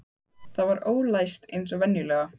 Það var ólæst eins og venjulega.